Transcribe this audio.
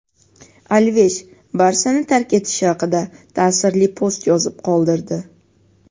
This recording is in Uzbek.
Alvesh "Barsa"ni tark etishi haqida ta’sirli post yozib qoldirdi;.